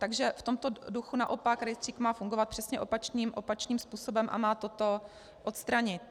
Takže v tomto duchu naopak rejstřík má fungovat přesně opačným způsobem a má toto odstranit.